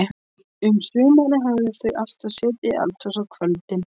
Um sumarið höfðu þau alltaf setið í eldhúsinu á kvöldin.